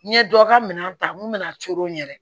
N ye dɔ ka minɛn ta mun bɛna a coron yɛrɛ